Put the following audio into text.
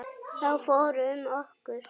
Þá fór um okkur.